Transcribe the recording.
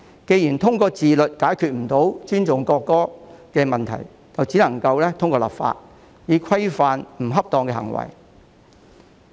既然無法通過自律解決不尊重國歌的問題，故此唯有透過立法規範不恰當的行為。